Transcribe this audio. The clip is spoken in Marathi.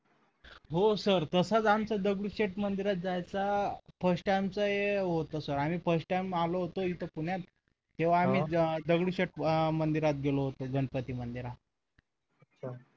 हो sir तसं आमचं दगडूशेठ मंदिरात जायचा first time टाइम हे होतं आणि first time आलो होतो इथे पुण्यात तेव्हा मी जा दगडूशेठ मंदिरात गेलो होतो गणपती मंदिरात अच्छा